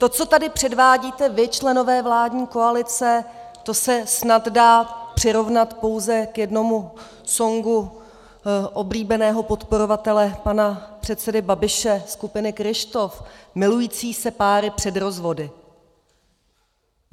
To, co tady předvádíte vy, členové vládní koalice, to se snad dá přirovnat pouze k jednomu songu oblíbeného podporovatele pana předsedy Babiše, skupiny Kryštof, Milující se páry před rozvody.